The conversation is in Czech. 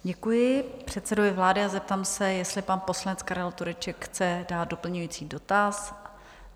Děkuji předsedovi vlády a zeptám se, jestli pan poslanec Karel Tureček chce dát doplňující dotaz?